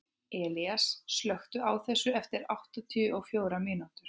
Elías, slökktu á þessu eftir áttatíu og fjórar mínútur.